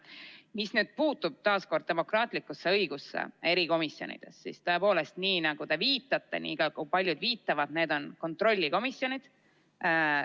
Mis puutub taas demokraatlikusse õigusesse erikomisjonides, siis tõepoolest, nii nagu te viitate ja nagu paljud viitavad, need on kontrollikomisjonid.